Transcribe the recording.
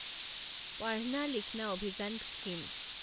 Padhna Likhna Abhiyan scheme